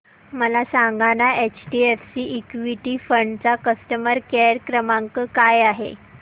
मला सांगाना HDFC equity fund चा कस्टमर केअर क्रमांक काय आहे